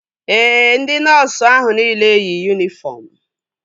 Ee, ndị nọọsu ahụ nile yi yunifọm